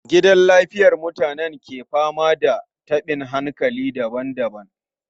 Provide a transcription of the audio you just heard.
Gidan lafiyar mutanen ke fama da tabin hankali daban-daban.